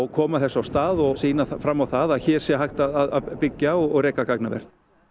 koma þessu af stað og sýna fram á það að hér sé hægt að byggja og reka gagnaver